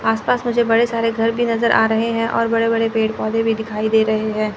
आस पास मुझे बड़े सारे घर भी नजर आ रहे हैं और बड़े बड़े पेड़ पौधे भी दिखाई दे रहे हैं।